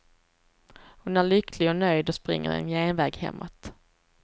Hon är lycklig och nöjd och springer en genväg hemåt.